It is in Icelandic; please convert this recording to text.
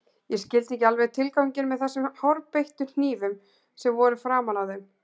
Ég skildi ekki alveg tilganginn með þessum hárbeittu hnífum sem voru framan á þeim.